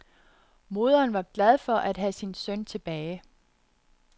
Moderen var glad for at have sin søn tilbage.